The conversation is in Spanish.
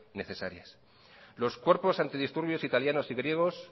necesarias los cuerpos antidisturbios italianos y griegos